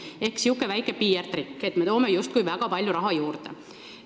Ehk see on niisugune väike PR-trikk, et me toome justkui väga palju raha juurde.